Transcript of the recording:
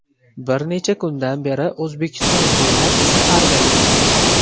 Bir necha kundan beri O‘zbekiston bo‘ylab safarda yuribmiz.